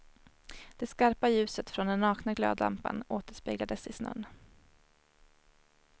Det skarpa ljuset från den nakna glödlampan återspeglades i snön.